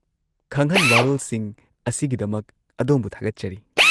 -ꯈꯪꯍꯟ-ꯋꯥꯔꯣꯜꯁꯤꯡ ꯑꯁꯤꯒꯤꯗꯃꯛ ꯑꯗꯣꯝꯕꯨ ꯊꯥꯒꯠꯆꯔꯤ꯫